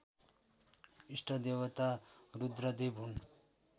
इष्टदेवता रुद्रदेव हुन्